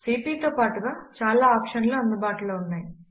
CP తో పాటుగా చాలా ఆప్షన్లు అందుబాటులో ఉన్నాయి